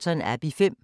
DR2